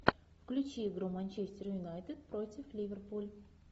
включи игру манчестер юнайтед против ливерпуль